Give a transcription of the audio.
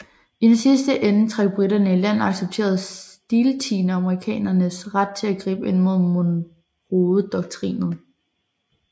I den sidste ende trak briterne i land og accepterede stiltiende amerikanernes ret til at gribe ind under Monroedoktrinen